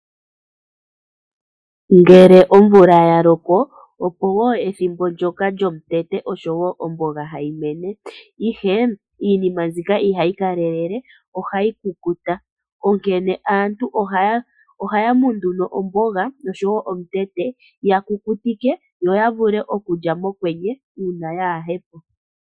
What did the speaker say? Ngele omvula ya loko opo woo ethimbo ndjoka lyomutete oshowo omboga hayi mene ihe iinima mbika ihayi kalelele ohayi kuluta onkene aantu ohay mu ndu omboga noshowo omutete ya kukutikwa yo yavule okulya mokwenye uuna kayipo.